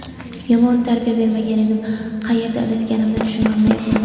Yomon tarbiya bermagan edim, qayerda adashganimni tushuna olmayapman.